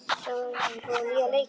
Sæmar, hefur þú prófað nýja leikinn?